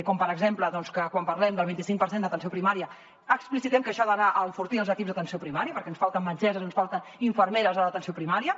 com per exemple que quan parlem del vint i cinc per cent d’atenció primària explicitem que això ha d’anar a enfortir els equips d’atenció primària perquè ens falten metgesses ens falten infermeres a l’atenció primària